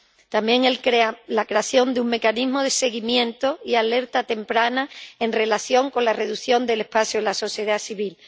También la creación de un mecanismo de seguimiento y alerta temprana en relación con la reducción del espacio en la sociedad civil.